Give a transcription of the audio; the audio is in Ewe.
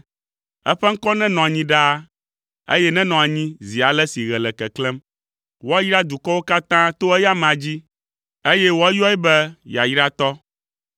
Eƒe ŋkɔ nenɔ anyi ɖaa, eye nenɔ anyi zi ale si ɣe le keklẽm. Woayra dukɔwo katã to eya amea dzi, eye woayɔe be yayratɔ.